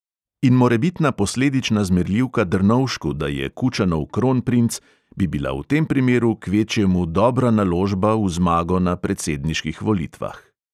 In morebitna posledična zmerljivka drnovšku, da je kučanov kronprinc, bi bila v tem primeru kvečjemu dobra naložba v zmago na predsedniških volitvah.